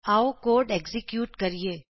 ਆਉ code execute ਕਰੀਏ